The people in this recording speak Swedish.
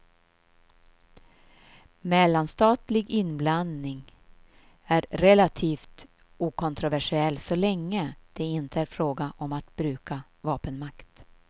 Mellanstatlig inblandning är relativt okontroversiell så länge det inte är fråga om att bruka vapenmakt.